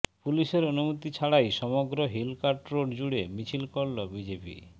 পুলিশের অনুমতি ছাড়াই সমগ্র হিলকার্ট রোড জুড়ে মিছিল করল বিজেপি